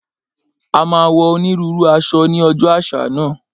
A máa wọ onírúurú aṣọ ní ọjọ́ àṣà náà